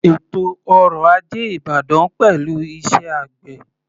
Ètò ọrọ̀ ajé ìbàdàn pẹ̀lú iṣẹ́ àgbè.